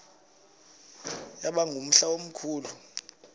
yaba ngumhla omkhulu